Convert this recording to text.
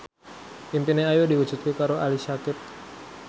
impine Ayu diwujudke karo Ali Syakieb